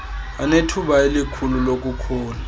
anethuba elikhulu lokukhula